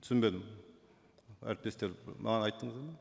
түсінбедім әріптестер маған айттыңыздар ма